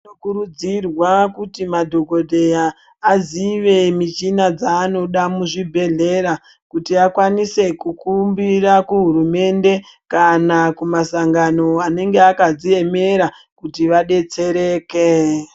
Tinokurudzirwa kuti madhogodheya azive michina dzaanoda muzvibhedhlera kuti akwanise kukumbira kuhurumende, kana kumasangano anenga akadziemera kuti abetsereke.